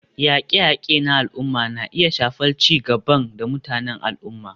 Yaƙe-yaƙe na al'umma na iya shafar ci gaban da mutanen al'umma.